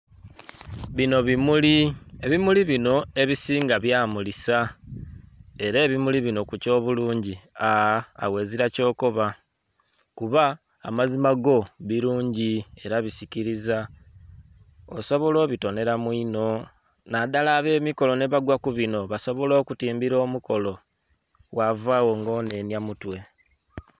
Bino bimuli, ebimuli bino ebisinga bya mulisa era ebimuli bino kukyo bulungi aa.. aghagho ozira kyokoba kuba amazima go bulungi inho era bisikiriza osobola obitonera mwinho nadhala abemikolo nebagwa kubino, basobola okutimbira omukolo ghavagho nga onenya mutwe.